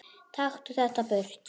Taktu þetta burt!